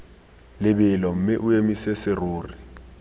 lebelo mme o emise serori